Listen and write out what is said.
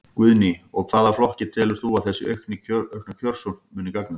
Guðný: Og hvaða flokki telur þú að þessi aukna kjörsókn muni gagnast?